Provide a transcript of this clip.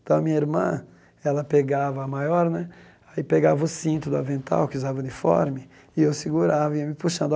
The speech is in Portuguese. Então, a minha irmã, ela pegava a maior né, aí pegava o cinto do avental, que usava uniforme, e eu segurava e ia me puxando.